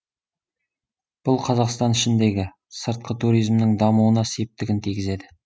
бұл қазақстан ішіндегі сыртқы туризмнің дамуына септігін тигізеді